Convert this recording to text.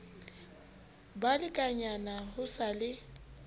ba lekganyane ho sa le